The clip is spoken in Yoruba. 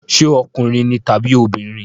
Ṣé ọkùnrin ni tàbí obìnrin?